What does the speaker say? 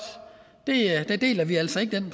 den præmis deler vi altså ikke